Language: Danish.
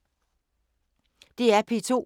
DR P2